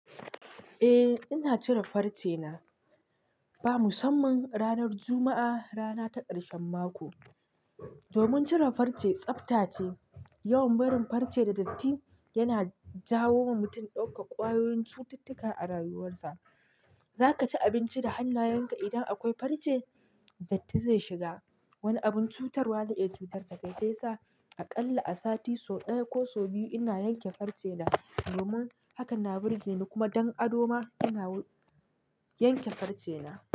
Eh ina cire farce na, ba musamman ranar Juma'a, rana ta ƙarshen mako. Domin cire farce tsafta ce. Yawan barin farce da datti, yana jawo wa mutum ɗaukar ƙwayoyin cututtuka a rayuwarsa. Za ka ci abinci da hannayenka idan akwai farce? Datti zai shiga. Wani abun cutarwa za iya cutar ka kai. Sai sa aƙalla a sati sau ɗaya ko sau biyu ina yanke farce na. Domin haka na birge ni, kuma don ado ma, ina yanke farce na.